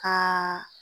Ka